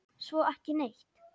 Svo ekki neitt.